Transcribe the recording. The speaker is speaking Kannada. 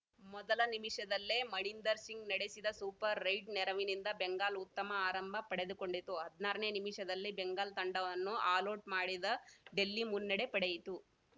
ಮೊದಲ ನಿಮಿಷದಲ್ಲೇ ಮಣೀಂದರ್‌ ಸಿಂಗ್‌ ನಡೆಸಿದ ಸೂಪರ್‌ ರೈಡ್‌ ನೆರವಿನಿಂದ ಬೆಂಗಾಲ್‌ ಉತ್ತಮ ಆರಂಭ ಪಡೆದುಕೊಂಡಿತು ಹದಿನಾರನೇ ನಿಮಿಷದಲ್ಲಿ ಬೆಂಗಾಲ್‌ ತಂಡವನ್ನು ಆಲೌಟ್‌ ಮಾಡಿದ ಡೆಲ್ಲಿ ಮುನ್ನಡೆ ಪಡೆಯಿತು